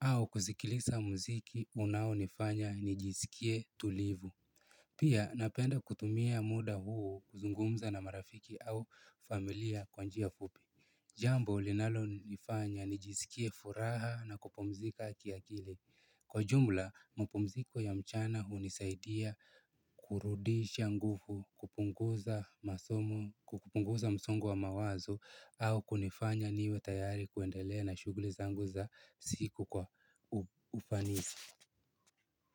Au kusikiliza muziki unaonifanya nijisikie tulivu. Pia napenda kutumia muda huu kuzungumza na marafiki au familia kwa njia fupi. Jambo linalonifanya nijisikie furaha na kupumzika kiakili. Kwa ujumla, mapumziko ya mchana hunisaidia kurudisha nguvu, kupunguza msongo wa mawazo au kunifanya niwe tayari kuendelea na shughuli zangu za siku kwa ufanisi.